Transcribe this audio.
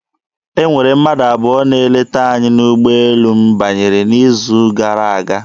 E nwere mmadụ abụọ na-eleta anyị n'ụgbọelu m banyere n'izu gara aga.